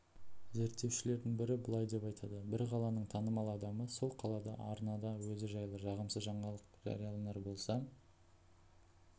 зерттеушілердің бірі былай деп айтады бір қаланың танымал адамы сол қаладағы арнада өзі жайлы жағымсыз жаңалық жарияланар болса